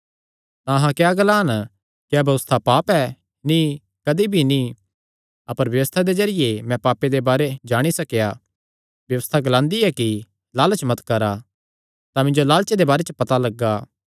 तां अहां क्या ग्लान क्या व्यबस्था पाप ऐ नीं कदी भी नीं अपर व्यबस्था दे जरिये मैं पापे दे बारे जाणी सकेया व्यबस्था ग्लांदी ऐ कि लालच मत करा तां मिन्जो लालचे दे बारे च पता लग्गा